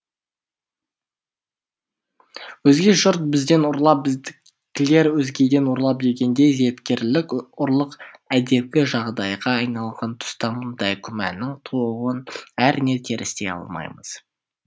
өзге жұрт бізден ұрлап біздікілер өзгеден ұрлап дегендей зияткерлік ұрлық әдепкі жағдайға айналған тұста мұндай күмәннің тууын әрине терістей алмаймыз